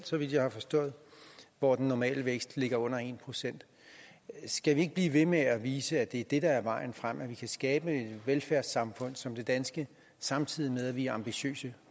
så vidt jeg har forstået hvor den normale vækst ligger under en procent skal vi ikke blive ved med at vise at det er det der er vejen frem at vi kan skabe et velfærdssamfund som det danske samtidig med at vi er ambitiøse